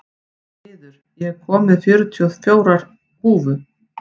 Smiður, ég kom með þrjátíu og fjórar húfur!